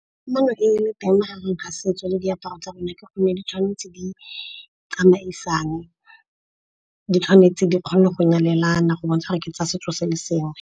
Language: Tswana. Kamano e leng teng mo gare ga setso le diaparo tsa rona ke gone di tshwanetse di tsamaisane. Di tshwanetse di kgone go nyalelana go bontsha gore ke tsa setso sa le sengwe.